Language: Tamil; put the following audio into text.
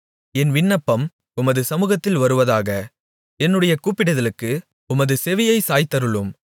என் விண்ணப்பம் உமது சமுகத்தில் வருவதாக என்னுடைய கூப்பிடுதலுக்கு உமது செவியைச் சாய்த்தருளும்